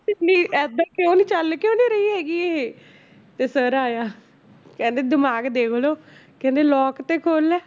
ਏਦਾਂ ਕਿਉਂ ਨੀ ਚੱਲ ਕਿਉਂ ਨੀ ਰਹੀ ਹੈਗੀ ਇਹ ਤੇ sir ਆਇਆ ਕਹਿੰਦੇੇ ਦਿਮਾਗ ਦੇਖ ਲਓ ਕਹਿੰਦੇ lock ਤੇ ਖੋਲ ਲੈ